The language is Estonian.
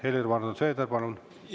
Helir-Valdor Seeder, palun!